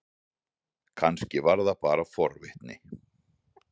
Kannski var það bara forvitni.